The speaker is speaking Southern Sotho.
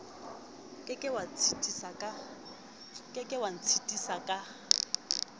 ke ke wa ntshitisa ka